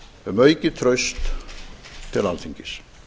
um aukið traust til alþingis